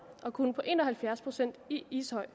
og kun på en og halvfjerds procent i ishøj